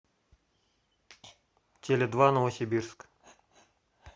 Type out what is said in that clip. теледва новосибирск